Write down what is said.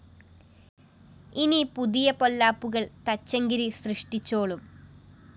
ഇനി പുതിയ പൊല്ലാപ്പുകള്‍ തച്ചങ്കരി സൃഷ്ടിച്ചോളും